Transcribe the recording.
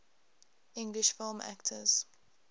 english film actors